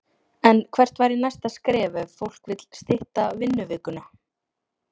En hvert væri næsta skref ef fólk vill stytta vinnuvikuna?